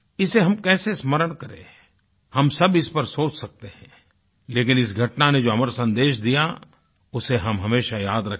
इसे हम कैसे स्मरण करें हम सब इस पर सोच सकते हैं लेकिन इस घटना ने जो अमर सन्देश दिया उसे हम हमेशा याद रखें